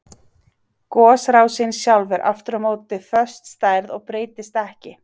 Gosrásin sjálf er aftur á móti föst stærð og breytist ekki.